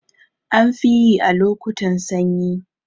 Anfiyi a lokotan sanyi